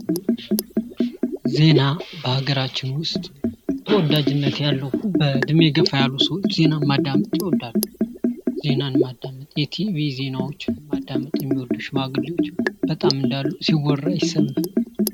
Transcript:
ዜና በሃገራችን ውስጥ ተወዳጅነት ያለው በእድሜ ገፋ ያሉ ሰዎች ዜናን ማዳመጥ ይወዳሉ። ዜናን ማዳመጥ የቲቢ ዜናዎችን ማዳመጥ የሚወዱ ሽማግሌዎች እንዳሉ ሲወራ ይሰማል።